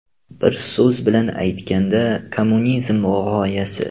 Bir so‘z bilan aytganda kommunizm g‘oyasi.